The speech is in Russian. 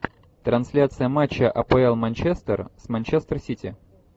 трансляция матча апл манчестер с манчестер сити